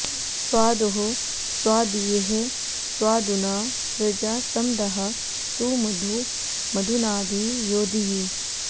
स्वा॒दोः स्वादी॑यः स्वा॒दुना॑ सृजा॒ सम॒दः सु मधु॒ मधु॑ना॒भि यो॑धीः